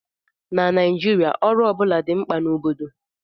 Na Naijiria, ọrụ ọ bụla dị mkpa na obodo